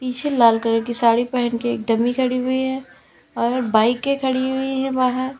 पीछे लाल कलर की साड़ी पहन के एक डम्मी खड़ी हुई है और बाइके खड़ी हुई हैं बाहर।